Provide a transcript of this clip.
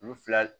U fila